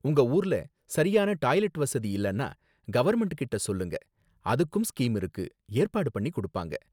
உங்க ஊர்ல சரியான டாய்லெட் வசதி இல்லனா கவர்ன்மெண்ட்கிட்ட சொல்லுங்க, அதுக்கும் ஸ்கீம் இருக்கு, ஏற்பாடு பண்ணி கொடுப்பாங்க